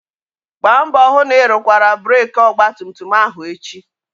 Gbaa mbọ hụ na ị rụkwara breeki ọgbatumtum ahụ echi!